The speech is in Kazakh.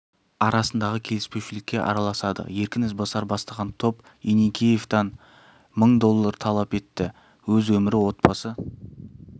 арасындағы келіспеушілікке араласады еркін ізбасар бастаған топ еникеевтен мың доллар талап етті өз өмірі отбасы